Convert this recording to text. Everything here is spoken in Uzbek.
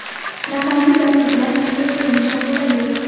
Raqamli darsliklar qanday ko‘rinishda bo‘ladi?